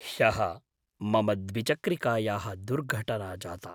ह्यः, मम द्विचक्रिकायाः दुर्घटना जाता।